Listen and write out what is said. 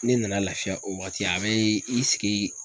Ne nana lafiya o waati a be i sigi.